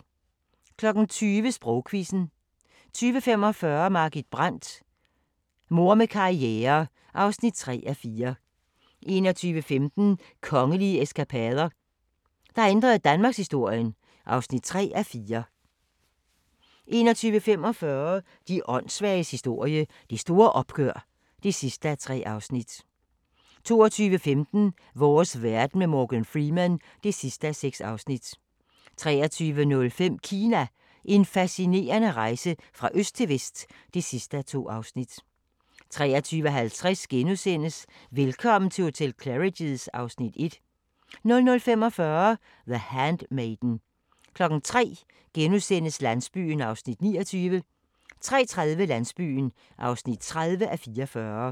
20:00: Sprogquizzen 20:45: Margit Brandt – Mor med karriere (3:4) 21:15: Kongelige eskapader – der ændrede danmarkshistorien (3:4) 21:45: De åndssvages historie – Det store opgør (3:3) 22:15: Vores verden med Morgan Freeman (6:6) 23:05: Kina – en fascinerende rejse fra øst til vest (2:2) 23:50: Velkommen til hotel Claridge's (Afs. 1)* 00:45: The Handmaiden 03:00: Landsbyen (29:44)* 03:30: Landsbyen (30:44)